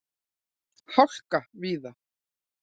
Hálka víða